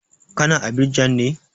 Ka na Abidjan ne?